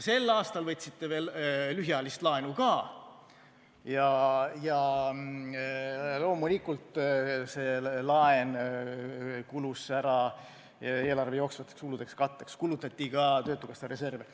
Sel aastal võtsite veel lühiajalist laenu ka ja loomulikult see laen kulus ära eelarve jooksvate kulude katteks, kulutati ka Töötukassa reserve.